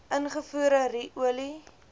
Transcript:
ingevoerde ru olie